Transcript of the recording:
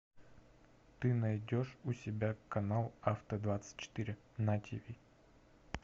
ты найдешь у себя канал авто двадцать четыре на тиви